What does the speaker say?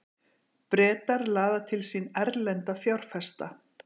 Bretar laða til sín erlenda fjárfesta